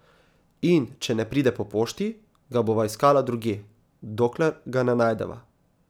In če ne pride po pošti, ga bova iskala drugje, dokler ga ne najdeva.